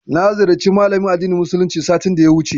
Na ziyarci malamin addinin musuluncin satin da ya wuce.